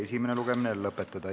Istungi lõpp kell 18.32.